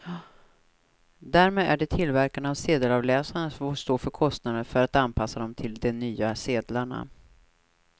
Därmed är det tillverkarna av sedelavläsarna som får stå för kostnaden för att anpassa dem till de nya sedlarna.